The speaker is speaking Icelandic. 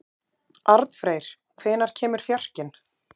Arnfreyr, hvenær kemur fjarkinn?